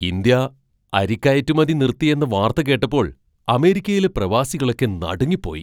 India അരി കയറ്റുമതി നിർത്തിയെന്ന വാർത്ത കേട്ടപ്പോൾ അമേരിക്കയിലെ പ്രവാസികളൊക്കെ നടുങ്ങിപ്പോയി.